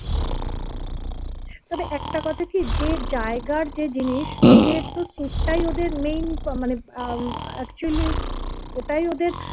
তবে একটা কথা কি যে জায়গার যে জিনিস ওদের তো সুটটাই ওদের main মানে আহ actually ওটাই ওদের